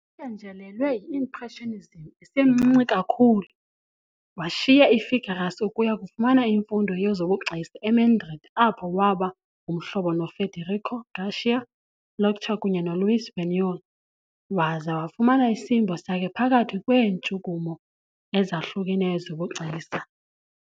Ephenjelelwe yi-Impressionism esemncinci kakhulu, washiya i-Figueras ukuya kufumana imfundo yezobugcisa eMadrid apho waba ngumhlobo noFederico García Lorca kunye noLuis Buñuel waza wafuna isimbo sakhe phakathi kweentshukumo ezahlukeneyo zobugcisa.